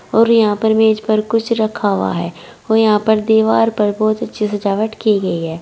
और यहां पर मेज पर कुछ रखा हुआ है और यहां पर दीवार पर बहुत अच्छी सजावट की गई है।